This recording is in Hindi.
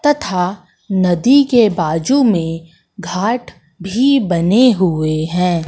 तथा नदी के बाजू में घाट भी बने हुए हैं।